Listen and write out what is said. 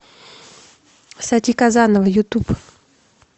сати казанова ютуб